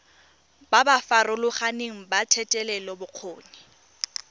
ba ba farologaneng ba thetelelobokgoni